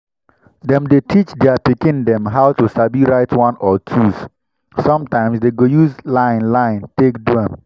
dem dey teach their pikin dem how to sabi write one or twos. sometimes dem go use line line take do am.